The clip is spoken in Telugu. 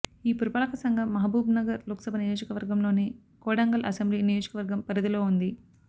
ఈ పురపాలక సంఘం మహబూబ్నగర్ లోక్సభ నియోజకవర్గం లోని కొడంగల్ అసెంబ్లీ నియోజకవర్గం పరిధిలో ఉంది